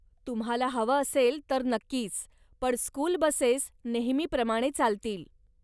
तुम्हाला हवं असेल, तर नक्कीच, पण स्कूल बसेस नेहमीप्रमाणे चालतील.